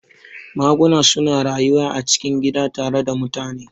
Maguna suna rayuwa a cikin gida tare da mutane